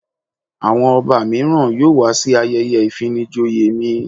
Àwọn Ọba míràn yóò wá sí ayẹyẹ ìfinijoyè mi.